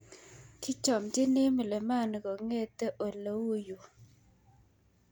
Kichomchini mlimani kongete oleuyo.